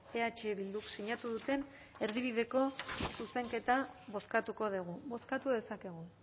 eh bilduk sinatu duten erdibideko zuzenketa bozkatuko dugu bozkatu dezakegu